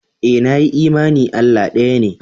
Ee, nayi imani Allah ɗaya ne